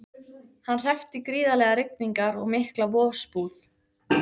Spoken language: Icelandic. Hann hreppti gríðarlegar rigningar og mikla vosbúð.